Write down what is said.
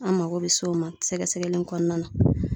An mago bɛ se o ma sɛgɛsɛgɛli in kɔnɔna na.